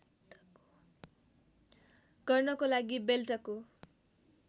गर्नको लागि बेल्टको